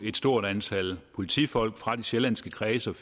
et stort antal politifolk fra de sjællandske kredse og